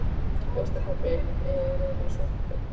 Veistu pabbi, ég er eiginlega svo heppin.